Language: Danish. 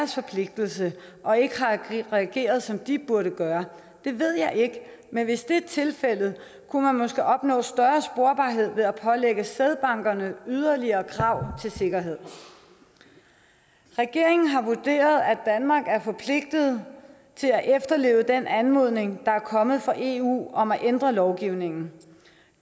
forpligtelse og ikke har reageret som den burde gøre det ved jeg ikke men hvis det er tilfældet kunne man måske opnå større sporbarhed ved at pålægge sædbankerne yderligere krav til sikkerhed regeringen har vurderet at danmark er forpligtet til at efterleve den anmodning der er kommet fra eu om at ændre lovgivningen